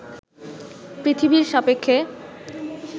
পৃথিবীর সাপেক্ষে